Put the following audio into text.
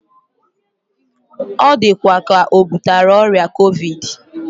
Odikwa ka obutara oria Covid